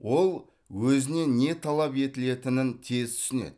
ол өзінен не талап етілетінін тез түсінеді